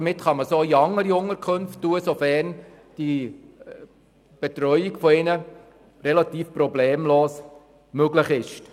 Somit können sie auch in anderen Unterkünften platziert werden, sofern die Betreuung der Betroffenen problemlos möglich ist.